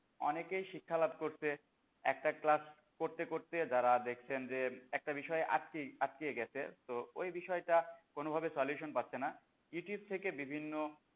অনেকেই শিক্ষালাভ করছে একটা class করতে করতে যারা দেখছেন যে একটা বিষয় আটকে আটকে গেছে তো ওই বিষয়টা কোন ভাবে solution পাচ্ছে না ইউটিউব থেকে বিভিন্ন,